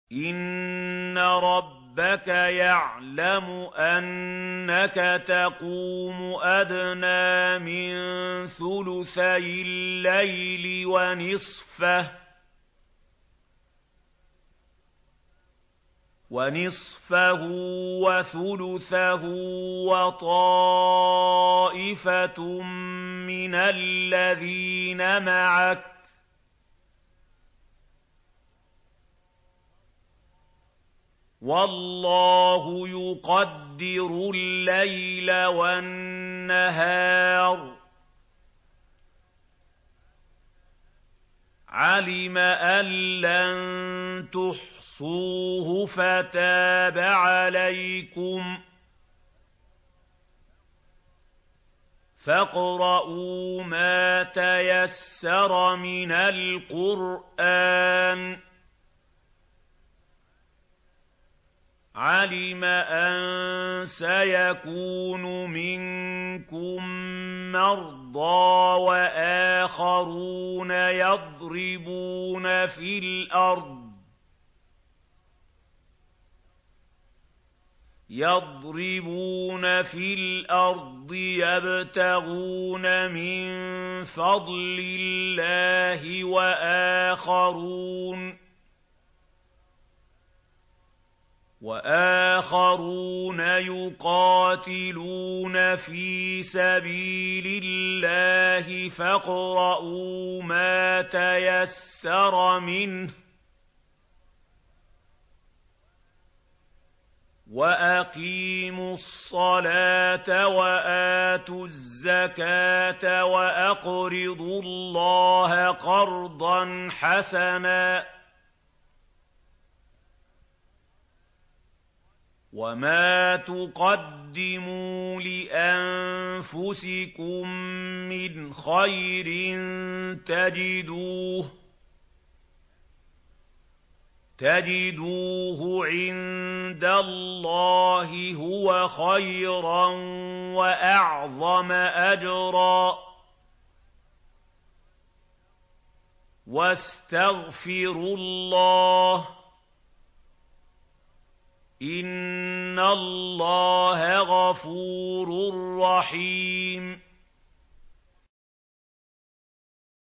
۞ إِنَّ رَبَّكَ يَعْلَمُ أَنَّكَ تَقُومُ أَدْنَىٰ مِن ثُلُثَيِ اللَّيْلِ وَنِصْفَهُ وَثُلُثَهُ وَطَائِفَةٌ مِّنَ الَّذِينَ مَعَكَ ۚ وَاللَّهُ يُقَدِّرُ اللَّيْلَ وَالنَّهَارَ ۚ عَلِمَ أَن لَّن تُحْصُوهُ فَتَابَ عَلَيْكُمْ ۖ فَاقْرَءُوا مَا تَيَسَّرَ مِنَ الْقُرْآنِ ۚ عَلِمَ أَن سَيَكُونُ مِنكُم مَّرْضَىٰ ۙ وَآخَرُونَ يَضْرِبُونَ فِي الْأَرْضِ يَبْتَغُونَ مِن فَضْلِ اللَّهِ ۙ وَآخَرُونَ يُقَاتِلُونَ فِي سَبِيلِ اللَّهِ ۖ فَاقْرَءُوا مَا تَيَسَّرَ مِنْهُ ۚ وَأَقِيمُوا الصَّلَاةَ وَآتُوا الزَّكَاةَ وَأَقْرِضُوا اللَّهَ قَرْضًا حَسَنًا ۚ وَمَا تُقَدِّمُوا لِأَنفُسِكُم مِّنْ خَيْرٍ تَجِدُوهُ عِندَ اللَّهِ هُوَ خَيْرًا وَأَعْظَمَ أَجْرًا ۚ وَاسْتَغْفِرُوا اللَّهَ ۖ إِنَّ اللَّهَ غَفُورٌ رَّحِيمٌ